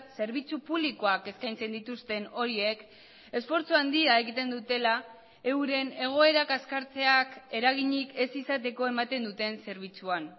zerbitzu publikoak eskaintzen dituzten horiek esfortzu handia egiten dutela euren egoerak kaskartzeak eraginik ez izateko ematen duten zerbitzuan